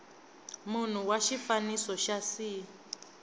munhu wa xifaniso xa c